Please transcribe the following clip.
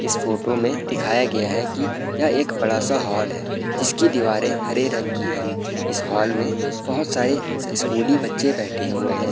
इस फोटो में दिखाया गया है की यह एक बड़ा सा हॉल है जिसकी दीवारे हरे रंग की है। इस हॉल में बहोत सारे स्कूली बच्चे बैठे हुए हैं।